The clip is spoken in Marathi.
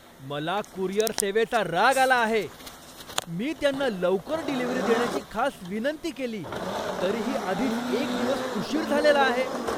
मला कुरिअर सेवेचा राग आला आहे. मी त्यांना लवकर डिलीव्हरी देण्याची खास विनंती केली तरीही आधीच एक दिवस उशीर झालेला आहे!